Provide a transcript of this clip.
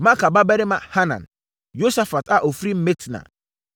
Maaka babarima Hanan; Yosafat a ɔfiri Mitna;